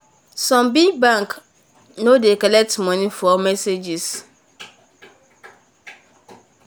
some big bank nor nor dey collect money for messages.